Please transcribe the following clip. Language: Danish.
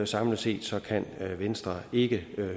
samlet set kan venstre ikke